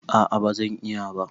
A'a bazan iya ba